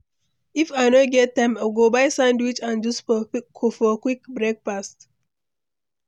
If I no get time, I go buy sandwich and juice for quick breakfast.